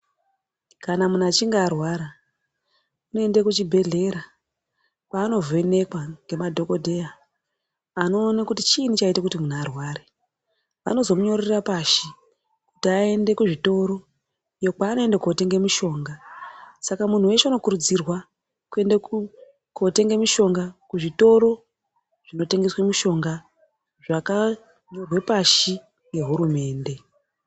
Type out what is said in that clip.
Kana muntu achinge arwara unoenda kuchibHedhera kwaanovhrnekwa nemafhokodheya anoiona kuti chiinyi chaita kuti muntu arware. Anozomunyorera pashi kuti aende kuzvitoro uko kwaanoenda kotenge mushonga. Saka muntu weshe unokurudzirwa kuenda kuzvitoro kotenga mushonga kunotengeswa mushonga zvakanyorwa pashi ngehurumende .